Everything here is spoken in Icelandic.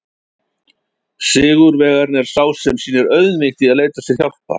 Sigurvegarinn er sá sem sýnir auðmýkt í að leita sér hjálpar!